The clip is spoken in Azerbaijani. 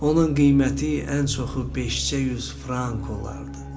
Onun qiyməti ən çoxu 500 frank olardı.